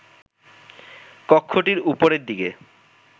কক্ষটির ওপরের দিকে